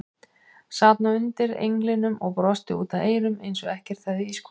Sat nú undir englinum og brosti út að eyrum eins og ekkert hefði í skorist.